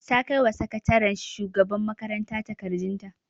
Ta kaiwa sakataren shugaban makaranta takardun ta